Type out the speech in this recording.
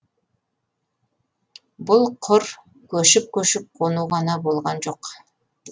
бұл құр көшіп көшіп қону ғана болған жоқ